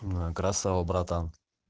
красава братан